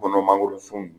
Kɔnɔ mangoro sun